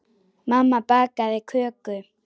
Mamma bakaði köku.